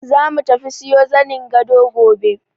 Zamu tafi siyo zanin gado gobe.